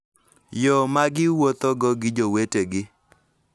Yo ma giwuothogo gi jowetegi,